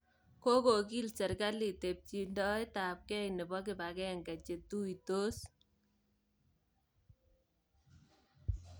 Kokokiil serikalit tebchindoetabkeey nebo kibakeenke che tuitos